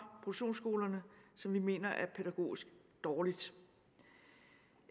produktionsskolerne som vi mener er pædagogisk dårligt